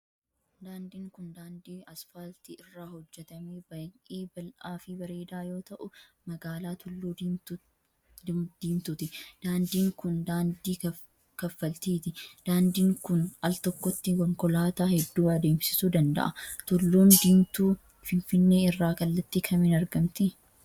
Daandiin kun, daandii asfaaltii irraa hojjatame baay'ee bal'aa fi breedaa yoo ta'u, magaalaa tulluu diimtuutti. Daandiin kun, daandii kaffaltiiti. Daandiin kun, al tokkotti konkolaataa hedduu adeemsisuu danda'a. Tulluun diimtuu finfinnee irraa kallattii kamiin argamti?